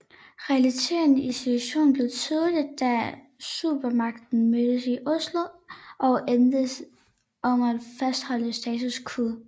Realiteten i situationen blev tydelig da supermagterne mødtes i Oslo og enedes om at fastholde status quo